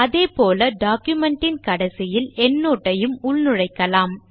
அதேபோல டாக்குமென்ட் ன் கடைசியில் எண்ட்னோட் ஐயும் உள்நுழைக்கலாம்